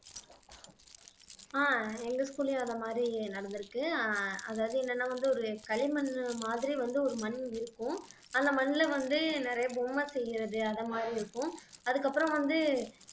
ஆஹ் எங்க school லயும் அந்த மாதிரி நடந்திருக்கு அஹ் அதாவது என்னன்னா வந்து ஒரு களிமண் மாதிரி வந்து ஒரு மண் இருக்கும் அந்த மண்ல வந்து நிறைய பொம்மை செய்யறது அந்த மாதிரி இருக்கும் அதுக்கப்புறம் வந்து